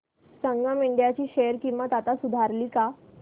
संगम India ची share किंमत आता सुधारली का